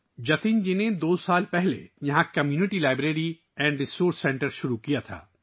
جتن جی نے دو سال پہلے یہاں ایک 'community library and resource centre ' شروع کیا تھا